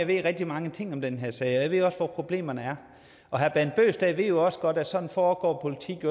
ved rigtig mange ting om den her sag og jeg ved også hvor problemerne er og herre bent bøgsted ved jo også godt at sådan foregår politik